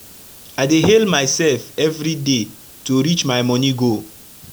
i dey hail mysef everi day to reach my moni goal